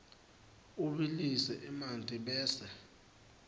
ubilise emanti bese